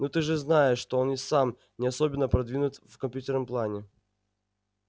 ну ты же знаешь что он и сам не особенно продвинут в компьютерном плане